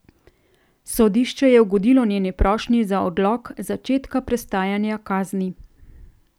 Sodišče je ugodilo njeni prošnji za odlog začetka prestajanja kazni.